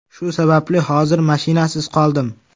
Shu sababli hozir mashinasiz qoldim.